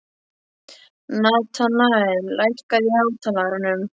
Natanael, lækkaðu í hátalaranum.